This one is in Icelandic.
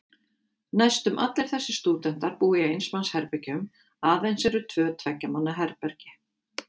Næstum allir þessir stúdentar búa í eins manns herbergjum, aðeins eru tvö tveggja manna herbergi.